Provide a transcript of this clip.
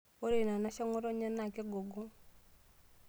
Ore ina anashe eng'otonye naa kegogong'.